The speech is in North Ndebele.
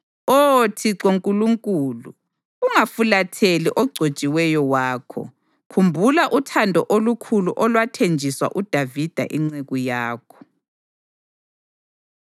Oh Thixo Nkulunkulu, ungafulatheli ogcotshiweyo wakho. Khumbula uthando olukhulu olwathenjiswa uDavida inceku yakho.”